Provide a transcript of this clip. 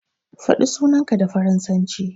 Faɗi sunanka da faransanci.